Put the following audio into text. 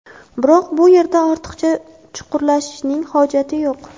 Biroq bu yerda ortiqcha chuqurlashishning hojati yo‘q.